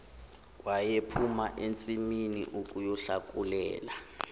wayephuma ensimini ukuyohlakulela